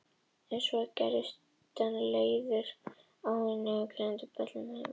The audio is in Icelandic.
En svo gerðist hann leiður á henni og geymdi böllinn heima eftir það.